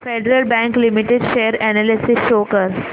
federal bank limited share analysis show कर